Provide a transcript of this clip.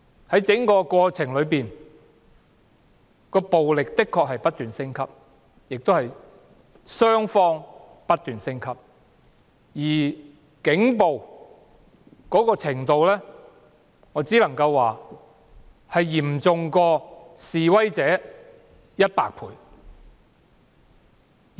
在整個過程中，雙方的暴力的確不斷升級，而警暴的程度，我只能說比示威者的嚴重100倍之多。